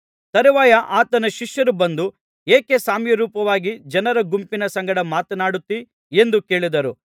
ತರುವಾಯ ಆತನ ಶಿಷ್ಯರು ಬಂದು ಏಕೆ ಸಾಮ್ಯರೂಪವಾಗಿ ಜನರ ಗುಂಪಿನ ಸಂಗಡ ಮಾತನಾಡುತ್ತಿ ಎಂದು ಕೇಳಿದರು